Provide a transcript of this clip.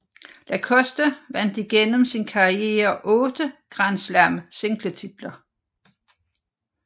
Lacoste vandt igennem sin karriere 8 Grand Slam singletitler